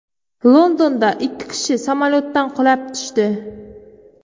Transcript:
Londonda ikki kishi samolyotdan qulab tushdi.